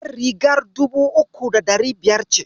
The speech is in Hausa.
Jar rigar dubu uku da ɗari biyar ce.